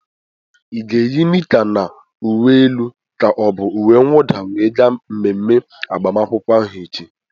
Ị ga-eyi nicka na uwe elu ka ọ bụ uwe nwụda we gaa mmemme agbamakwụkwọ ahụ echi?